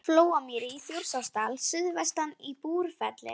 Flóamýri í Þjórsárdal, suðvestan í Búrfelli.